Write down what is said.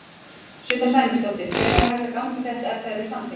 Sunna Sæmundsdóttir: Hvenær væri hægt að ganga í þetta, ef það yrði samþykkt?